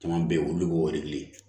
Caman bɛ yen olu b'o de kelen